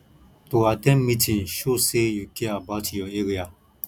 to at ten d meeting show say you care about your area